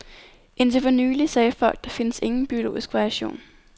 Indtil for nylig sagde folk der findes ingen biologisk variation.